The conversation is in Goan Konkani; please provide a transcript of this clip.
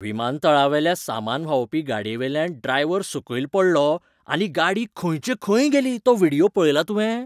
विमातळावेल्या सामान व्हांवोवपी गाडयेवेल्यान ड्रायव्हर सकयल पडलो आनी गाडी खंयचे खंय गेली तो व्हिडियो पळयला तुवें?